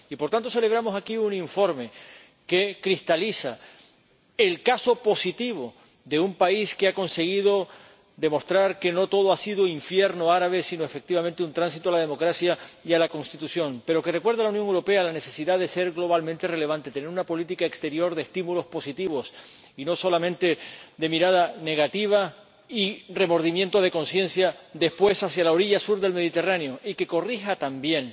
Por tanto, celebramos aquí un informe que cristaliza el caso positivo de un país que ha conseguido demostrar que no todo ha sido infierno árabe, sino, efectivamente, un tránsito a la democracia y a la Constitución, pero que recuerda a la Unión Europea la necesidad de ser globalmente relevante, tener una política exterior de estímulos positivos y no solamente de mirada negativa y remordimiento de conciencia después hacia la orilla sur del Mediterráneo y de corregir también